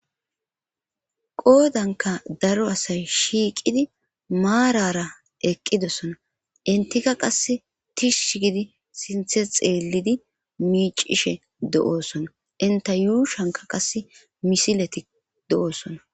Qoodanka daro asay shiiqidi maarara eqqidossona intika qass tishsh gidi sinthe xeellidi miicishe do7oosona inta yuushanka qas misileti do7oosona